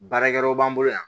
Baarakɛyɔrɔ b'an bolo yan